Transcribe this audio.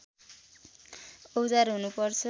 औजार हुनु पर्छ